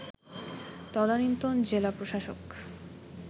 তদানীন্তন জেলা প্রশাসক